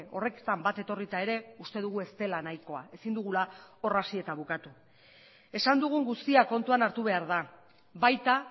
horretan bat etorrita ere uste dugu ez dela nahikoa ezin dugula hor hasi eta bukatu esan dugun guztia kontuan hartu behar da baita